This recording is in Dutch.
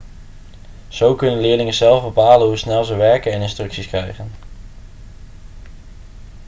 zo kunnen leerlingen zelf bepalen hoe snel ze werken en instructies krijgen